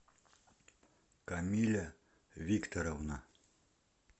камиля викторовна